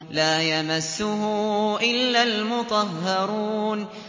لَّا يَمَسُّهُ إِلَّا الْمُطَهَّرُونَ